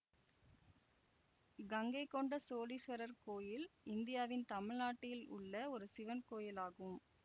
கங்கைகொண்ட சோழீஸ்வரர் கோயில் இந்தியாவின் தமிழ்நாட்டில் உள்ள ஒரு சிவன் கோவில் ஆகும்